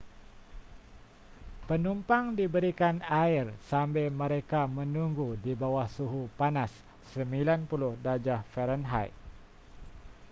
penumpang diberikan air sambil mereka menunggu di bawah suhu panas 90°f